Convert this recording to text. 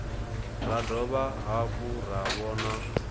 ra dovha hafhu ra vhona